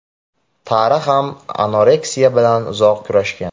Tara ham anoreksiya bilan uzoq kurashgan.